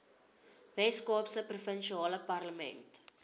weskaapse provinsiale parlement